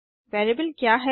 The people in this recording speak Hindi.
वेरिएबल क्या है160